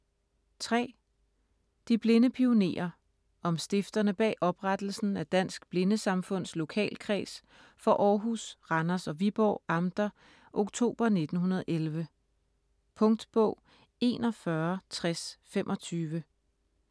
De blinde pionerer: om stifterne bag oprettelsen af Dansk Blindesamfunds Lokalkreds for Aarhus, Randers og Viborg amter oktober 1911 Punktbog 416025